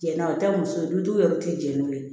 Jɛnna o tɛ muso ye dutigiw yɛrɛ tɛ jɛn n'o ye